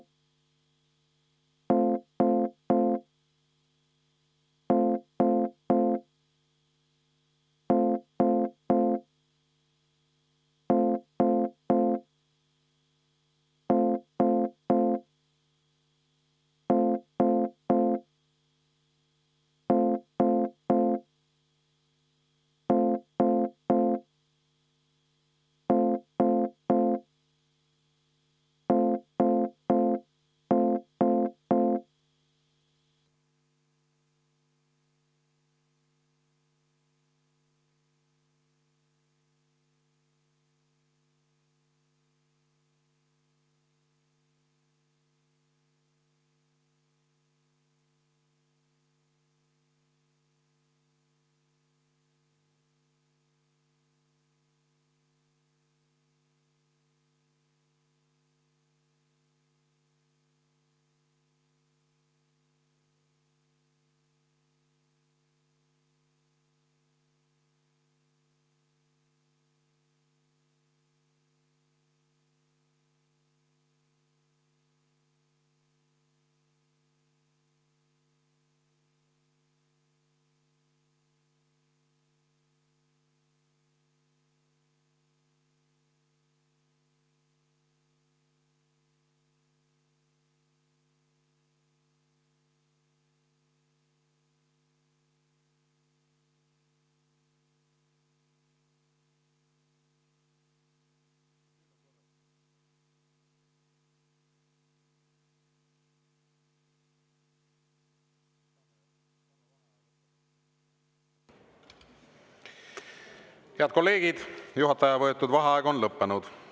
Head kolleegid, juhataja võetud vaheaeg on lõppenud.